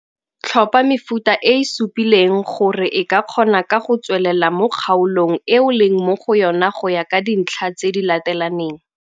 Tlhopha mefuta e e supileng gore e ka kgona ka go tswelela mo kgaolong e o leng mo go yona go ya ka ditlha tse di latelaneng.